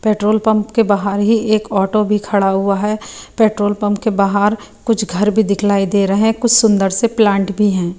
Petrol pump के बाहर ही एक ऑटो भी खड़ा हुआ है पेट्रोल पंप के बाहर कुछ घर भी दिखलाई दे रहे कुछ सुंदर से प्लांट भी है।